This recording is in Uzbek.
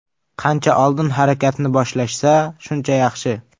Qancha oldin harakatni boshlashsa shuncha yaxshi.